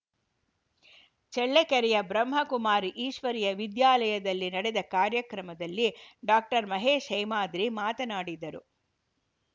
ಚಳ್ಳಕೆರೆಯ ಬ್ರಹ್ಮಕುಮಾರಿ ಈಶ್ವರಿಯ ವಿದ್ಯಾಲಯದಲ್ಲಿ ನಡೆದ ಕಾರ್ಯಕ್ರಮದಲ್ಲಿ ಡಾಕ್ಟರ್ ಮಹೇಶ್‌ ಹೇಮಾದ್ರಿ ಮಾತನಾಡಿದರು